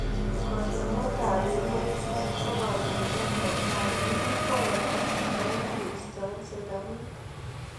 Kandoindet ap emet Park ko kandoindet netai nekikikwei eng haki chebo pik keisto ing serikalit.